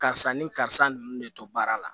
Karisa nin karisa nunnu de to baara la